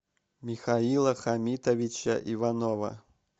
михаила хамитовича иванова